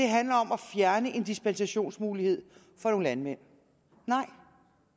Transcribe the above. handler om at fjerne en dispensationsmulighed for nogle landmænd nej